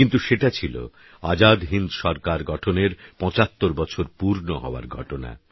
কিন্তু সেটা ছিল আজাদ হিন্দ সরকার গঠনের ৭৫বছর পূর্ণ হওয়ার ঘটনা